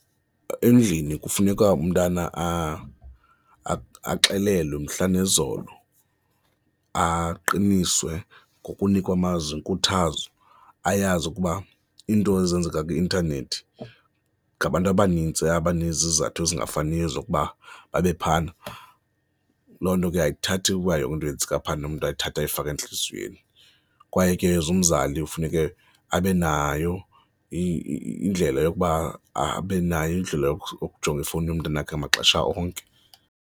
Endlini kufuneka umntana axelelwe mhla nezolo, aqiniswe ngokunikwa amazwi enkuthazo, ayazi ukuba into ezenzeka kwi-intanethi ngabantu abanintsi abanezizathu ezingafaniyo zokuba babe phayana. Loo nto ke ayithathi ukuba yonke into eyenzeka phaya umntu ayithathe ayifake entliziyweni, kwaye ke as umzali kufuneke abe nayo indlela yokuba abe nayo indlela yokujonga ifowuni yomntanakhe maxesha onke.